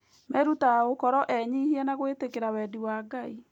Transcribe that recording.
Merutaga gũkorwo enyihia na gwĩtĩkĩra wendi wa Ngai.